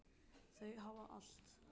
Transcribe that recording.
Þau hafa allt.